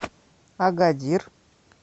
агадир